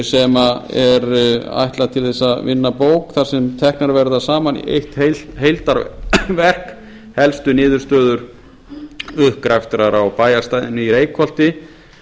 sem er ætlað til að vinna bók þar sem teknar verða saman í eitt heildarverk helstu niðurstöður uppgraftar á bæjarstæðinu í reykholti